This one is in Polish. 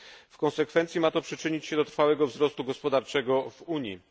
W konsekwencji ma to przyczynić się do trwałego wzrostu gospodarczego w Unii.